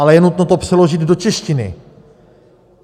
Ale je nutno to přeložit do češtiny.